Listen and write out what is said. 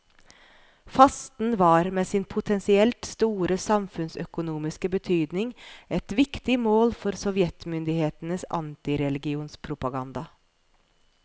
Fasten var med sin potensielt store samfunnsøkonomiske betydning et viktig mål for sovjetmyndighetenes antireligionspropaganda.